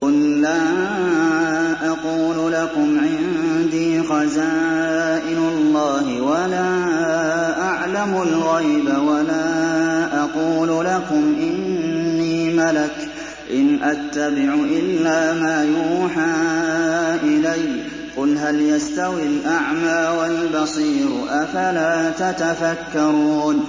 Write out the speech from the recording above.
قُل لَّا أَقُولُ لَكُمْ عِندِي خَزَائِنُ اللَّهِ وَلَا أَعْلَمُ الْغَيْبَ وَلَا أَقُولُ لَكُمْ إِنِّي مَلَكٌ ۖ إِنْ أَتَّبِعُ إِلَّا مَا يُوحَىٰ إِلَيَّ ۚ قُلْ هَلْ يَسْتَوِي الْأَعْمَىٰ وَالْبَصِيرُ ۚ أَفَلَا تَتَفَكَّرُونَ